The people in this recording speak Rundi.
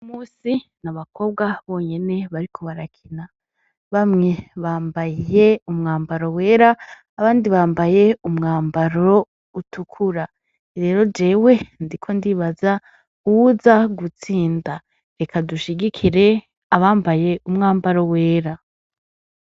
Uyu munsi n'abakobwa bonyene bariko barakina bamwe bambaye umwambaro wera abandi bambaye umwambaro utukura rero jewe ndiko ndibaza uwuza gutsinda reka dushigikire uwambaye umwambaro wera.